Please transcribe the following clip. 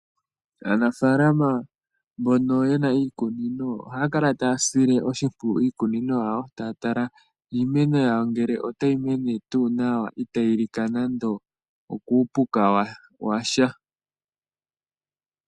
Aanafaalama mbono ye na iikunino ohaya kala taya sile iikunino yawo oshimpwiyu, taya tala ngele iimeno yawo otayi mene tuu nawa itayi lika nando okuupuka wa sha.